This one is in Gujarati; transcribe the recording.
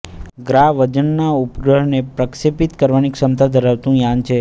ગ્રા વજનનાં ઉપગ્રહને પ્રક્ષેપીત કરવાની ક્ષમતા ધરાવતું યાન છે